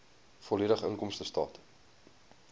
volledige inkomstestaat